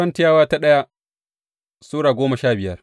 daya Korintiyawa Sura goma sha biyar